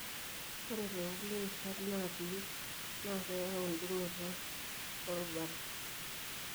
ore tokulie rishat napii na keyau dungoto orubat.